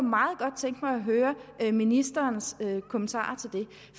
meget godt tænke mig at høre ministeren kommentarer